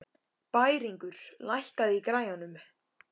Bæringur, lækkaðu í græjunum.